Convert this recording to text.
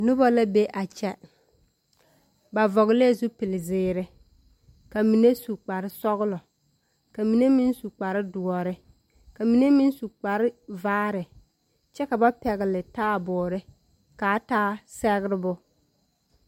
Noba be a kyԑ, ba vͻgelԑԑ zupili zeere, ka mine su kpare sͻgelͻ, ka mine meŋ kpare dõͻre, ka mine meŋ su kpare vaare, kyԑ ka ba pԑgele taaboore ka a taa sԑgerebo.